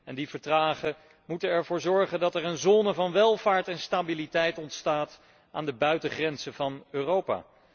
En die verdragen moeten ervoor zorgen dat er een zone van welvaart en stabiliteit ontstaat aan de buitengrenzen van Europa.